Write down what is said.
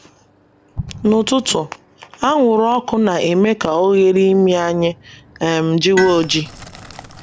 N’ụtụtụ, anwụrụ ọkụ na - eme ka oghere imi anyị um jiwe oji.